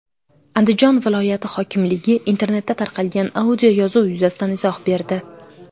Andijon viloyati hokimligi internetda tarqalgan audioyozuv yuzasidan izoh berdi.